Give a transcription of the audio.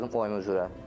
Gəldim oyma üzrə.